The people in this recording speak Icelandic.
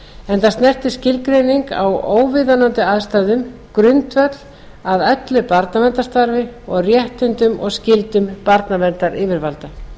enda snertir skilgreining á óviðunandi aðstæðum grundvöll að öllu barnaverndarstarfi og réttindum og skyldum barnaverndaryfirvalda